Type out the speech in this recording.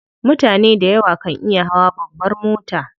Mutane dayawa kan iya hawa babbar mota.